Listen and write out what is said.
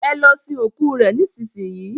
ẹ lọ sin ikú rẹ nísinsin yìí!